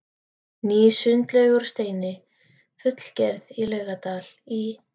Ný sundlaug úr steini fullgerð í Laugardal í